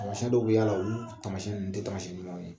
Taamasiyɛn dɔw bɛ y'a la olu taamasiyɛn ninnu tɛ taamasiyɛn ɲumanw ye